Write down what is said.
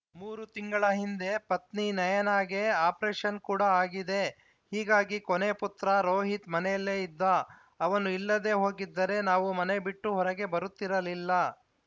ಮೂರು ತಿಂಗಳ ಹಿಂದೆ ಪತ್ನಿ ನಯನಾಗೆ ಆಪರೇಷನ್‌ ಕೂಡ ಆಗಿದೆ ಹೀಗಾಗಿ ಕೊನೇ ಪುತ್ರ ರೋಹಿತ್‌ ಮನೆಯಲ್ಲೆ ಇದ್ದ ಅವನು ಇಲ್ಲದೇ ಹೋಗಿದ್ದರೆ ನಾವು ಮನೆ ಬಿಟ್ಟು ಹೊರಗೆ ಬರುತ್ತಿರಲಿಲ್ಲ